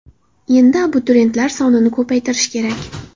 Endi abituriyentlar sonini ko‘paytirish kerak.